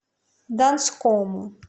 донскому